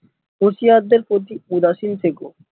হুঁশিয়ার দের প্রতি উদাসীন থেকো